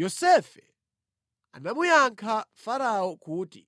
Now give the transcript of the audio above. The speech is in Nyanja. Yosefe anamuyankha Farao kuti,